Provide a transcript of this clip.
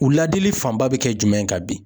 U ladili fanba bi kɛ jumɛn ye ka bin ?